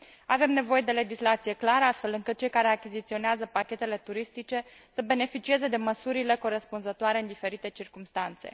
Avem nevoie de legislație clară, astfel încât cei care achiziționează pachetele turistice să beneficieze de măsurile corespunzătoare în diferite circumstanțe.